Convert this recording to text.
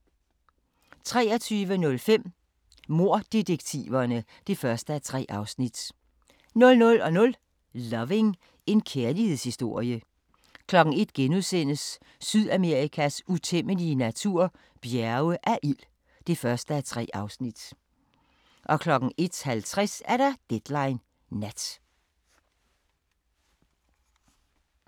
23:05: Morddetektiverne (1:3) 00:00: Loving – en kærlighedshistorie 01:00: Sydamerikas utæmmelige natur – Bjerge af ild (1:3)* 01:50: Deadline Nat